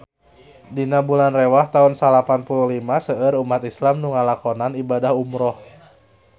Dina bulan Rewah taun salapan puluh lima seueur umat islam nu ngalakonan ibadah umrah